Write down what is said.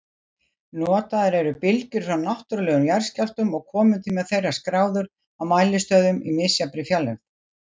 Notaðar eru bylgjur frá náttúrlegum jarðskjálftum og komutími þeirra skráður á mælistöðvum í misjafnri fjarlægð.